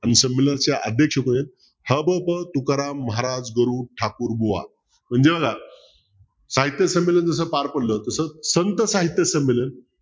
अन संमेलनाचे अध्यक्ष कोण आहेत ह. भ. प. तुकाराम महाराज गरुड ठाकूर बुआ म्हणजे बघा साहित्यसंमेलन जस पार पडलं तसंच संत साहित्य संमेलन